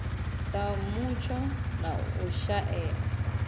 sa mutsho na u shaea